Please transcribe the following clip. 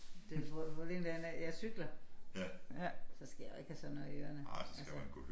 Det problemet det er nej jeg cykler så skal jeg jo ikke have sådan noget i ørerne altså